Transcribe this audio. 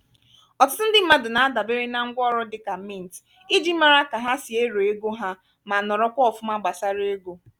ọtụtụ ndị mmadụ na-adabere na ngwaọrụ dị ka mint iji mara ka ha si ero ego ha ma norokwa ofuma gbasara ego